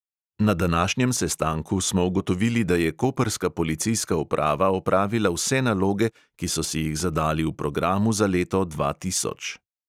Na današnjem sestanku smo ugotovili, da je koprska policijska uprava opravila vse naloge, ki so si jih zadali v programu za leto dva tisoč.